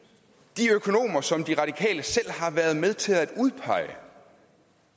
de økonomer som de radikale selv har været med til at udpege